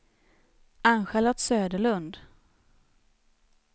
Ann-Charlotte Söderlund